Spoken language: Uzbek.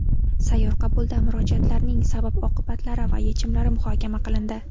Sayyor qabulda murojaatlarning sabab-oqibatlari va yechimlari muhokama qilindi.